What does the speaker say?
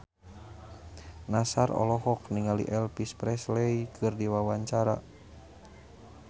Nassar olohok ningali Elvis Presley keur diwawancara